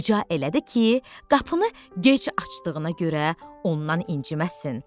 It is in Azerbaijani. Rica elədi ki, qapını gec açdığına görə ondan inciməsin.